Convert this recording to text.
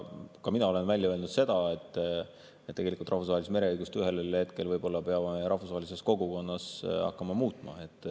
Ka mina olen välja öelnud, et tegelikult peame rahvusvahelist mereõigust ühel hetkel võib-olla rahvusvahelises kogukonnas hakkama muutma.